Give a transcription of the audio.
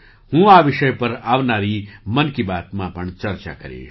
હું આ વિષય પર આવનારી 'મન કી બાત'માં પણ ચર્ચા કરીશ